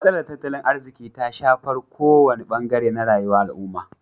Matsalar tattalin arziki ta shafar kowane bangare na rayuwa al'umma.